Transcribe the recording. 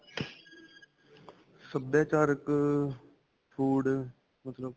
ਸਭਿਆਚਾਰਕ ਅਅ food ਮਤਲਬ?